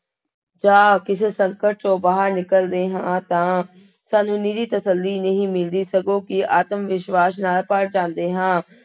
ਜਾਂ ਕਿਸੇ ਸੰਕਟ ਚੋਂ ਬਾਹਰ ਨਿਕਲਦੇ ਹਾਂ ਤਾਂ ਸਾਨੂੰ ਨਿਰੀ ਤਸੱਲੀ ਨਹੀਂ ਮਿਲਦੀ ਸਗੋਂ ਕਿ ਆਤਮ ਵਿਸ਼ਵਾਸ਼ ਨਾਲ ਭਰ ਜਾਂਦੇੇ ਹਾਂ।